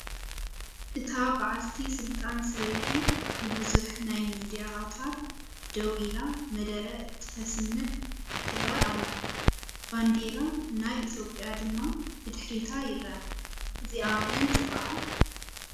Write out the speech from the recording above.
እታ ባዓልቲ ስልጣን ሰበይቲ ብቡዙሕ ናይ ሚድያ ኣውታር ደው ኢላ መደረ እትተስምዕ ትረአ ኣላ፡፡ ባንዴራ ናይ ኢ/ያ ድማ ብድሕሪታ ይረአ፡፡ እዚኣ መን ትባሃል?